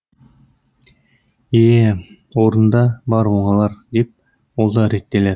е е орнында бар оңалар деп ол да реттелер